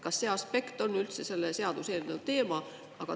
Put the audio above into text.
Kas see aspekt on üldse selle seaduseelnõu teema?